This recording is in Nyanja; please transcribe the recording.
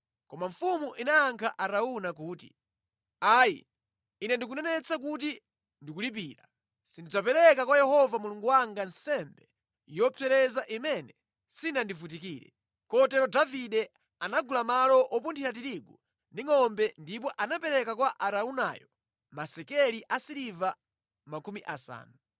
Koma mfumu inayankha Arauna kuti, “Ayi, Ine ndikunenetsa kuti ndikulipira. Sindidzapereka kwa Yehova Mulungu wanga nsembe yopsereza imene sindinavutikire.” Kotero Davide anagula malo wopunthira tiriguwo ndi ngʼombe ndipo anapereka kwa Araunayo masekeli asiliva makumi asanu.